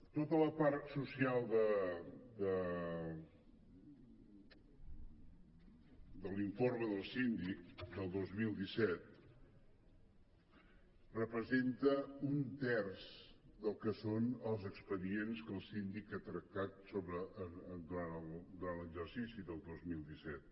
tota la part social de l’informe del síndic del dos mil disset representa un terç del que són els expedients que el síndic ha tractat durant l’exercici del dos mil disset